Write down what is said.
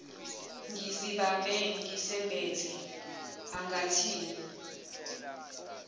ngisibambe ngisembethe angathini